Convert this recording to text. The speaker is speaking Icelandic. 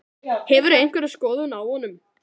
Hefurðu einhverja skoðun á honum?